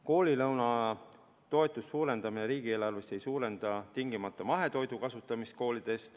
Koolilõunatoetuse suurendamine riigieelarvest ei suurenda tingimata koolides mahetoidu kasutamist.